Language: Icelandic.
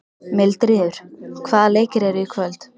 Mildríður, hvaða leikir eru í kvöld?